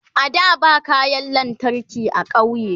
a da ba kayan lantarki a ƙauye